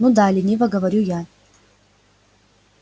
ну да лениво говорю я